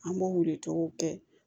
An b'o weele cogow kɛ